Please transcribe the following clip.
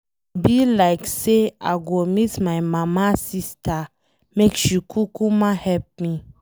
E be like say I go meet my mama sister make she kukuma help me.